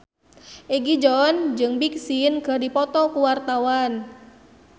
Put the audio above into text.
Egi John jeung Big Sean keur dipoto ku wartawan